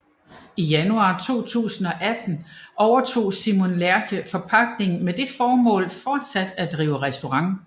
I januar 2018 overtog Simon Lerche forpagtningen med det formål fortsat at drive restaurant